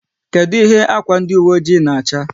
Kedụ ihe ákwà ndi uwe oji na-acha?